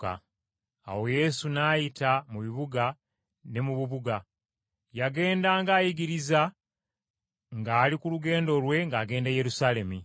Awo Yesu n’ayita mu bibuga ne mu bubuga; yagendanga ayigiriza ng’ali ku lugendo lwe ng’agenda e Yerusaalemi.